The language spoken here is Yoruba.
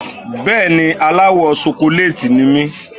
Bẹ́ẹ̀ni, aláwọ̀ ṣokolééètì ni mí.